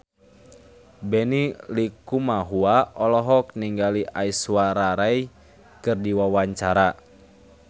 Benny Likumahua olohok ningali Aishwarya Rai keur diwawancara